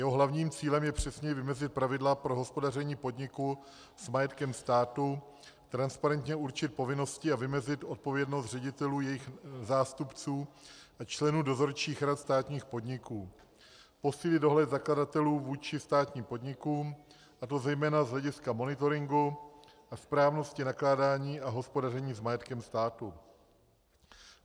Jeho hlavním cílem je přesněji vymezit pravidla pro hospodaření podniku s majetkem státu, transparentně určit povinnosti a vymezit odpovědnost ředitelů, jejich zástupců a členů dozorčích rad státních podniků, posílit dohled zakladatelů vůči státním podnikům, a to zejména z hlediska monitoringu a správnosti nakládání a hospodaření s majetkem státu.